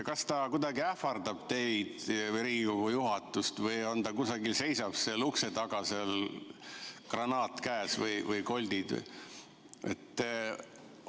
Kas ta kuidagi ähvardab teid või Riigikogu juhatust või seisab ta kusagil seal ukse taga, granaat või koldid käes?